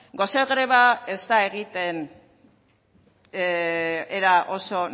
gose greba ez da egiten era oso